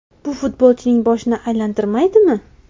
Bu futbolchining boshini aylantirmaydimi?